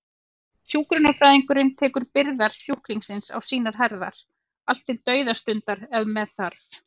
Hjúkrunarfræðingurinn tekur byrðar sjúklingsins á sínar herðar, allt til dauðastundar ef með þarf.